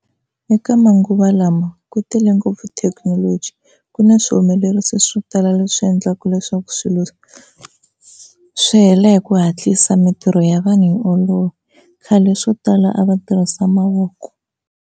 Eka manguva lawa ku tele ngopfu thekinoloji ku na swihumelerisiwa swo tala leswi endlaka leswaku swilo swi hela hi ku hatlisa mintirho ya vanhu yi olova, khale swo tala a va tirhisa mavoko.